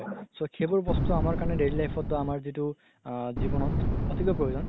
so সেইবোৰ বস্তু অমাৰ কাৰণে daily life ত আমাৰ যিতো আ জিৱনত অতিকৈ প্ৰয়োজন